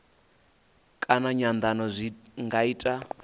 kana nyandano zwi nga ita